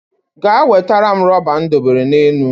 Ga wetere m rọba m dobere n'elu